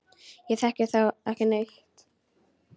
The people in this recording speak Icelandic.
Ég þekki þá ekki neitt.